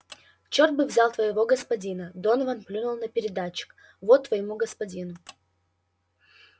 чёрт бы взял твоего господина донован плюнул на передатчик вот твоему господину